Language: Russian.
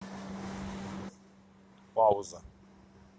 пауза